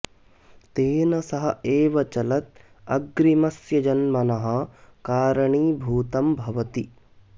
तेन सह एव चलत् अग्रिमस्य जन्मनः कारणीभूतं भवति